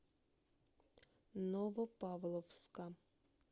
новопавловска